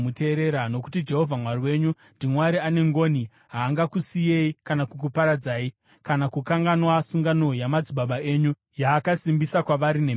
Nokuti Jehovha Mwari wenyu ndiMwari ane ngoni, haangakusiyei kana kukuparadzai, kana kukanganwa sungano yamadzibaba enyu, yaakasimbisa kwavari nemhiko.